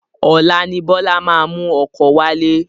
Ọlá ni Bọlá máa mú ọkọ wálé